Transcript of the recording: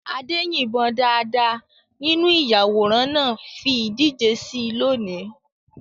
Ade yìnbọn dáadáa nínú ìyàwòrán náà fi ìdíje sí i lónìí.